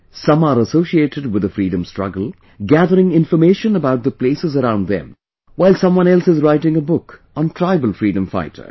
Some are associated with the freedom struggle, gathering information about the places around them, while someone else is writing a book on tribal freedom fighters